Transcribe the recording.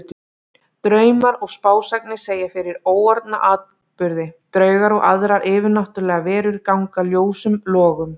Draumar og spásagnir segja fyrir óorðna atburði, draugar og aðrar yfirnáttúrlegar verur ganga ljósum logum.